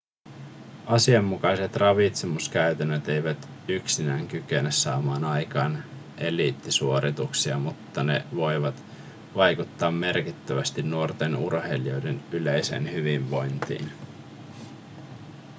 asianmukaiset ravitsemuskäytännöt eivät yksinään kykene saamaan aikaan eliittisuorituksia mutta ne voivat vaikuttaa merkittävästi nuorten urheilijoiden yleiseen hyvinvointiin